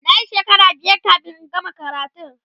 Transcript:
nayi shekara biyar kamin in gama karatun